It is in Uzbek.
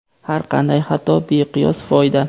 Har qanday xato — beqiyos foyda!.